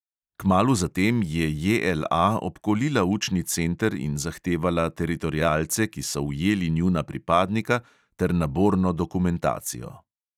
Kmalu zatem je JLA obkolila učni center in zahtevala teritorialce, ki so ujeli njuna pripadnika, ter naborno dokumentacijo.